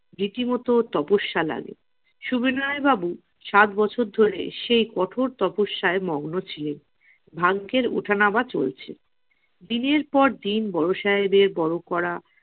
রীতিমতো তপস্যা লাগে সুবিনয় বাবু সাত বছর ধরে রীতিমতো সেই তপস্যায় মগ্ন ছিলেন। ভাগ্যের ওঠানামা চলছে দিনের পর দিন বড় সাহেবের বর করা